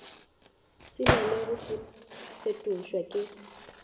se na go fetošwa le